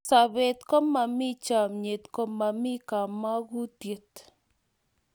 Sobet komamie chamiet ko mamie kamangutiet